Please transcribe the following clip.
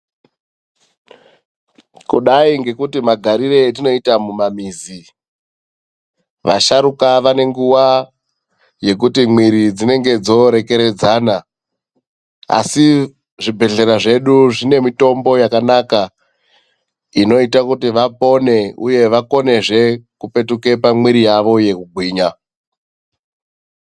Kudai ngekuti magariro atinoita mumamizi, vasharukwa vane nguva yekuti mwiri dzinenge dzorekeredzana, asi zvibhedhlera zvedu zvine mitombo yakanaka inoita kuti vapone uye vakonezve kupetuka pamwiri yavo yekugwinya.